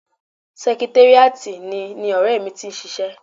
Sẹkitéríàtì ni ni ọ̀rẹ́ mi ti ń ṣiṣẹ́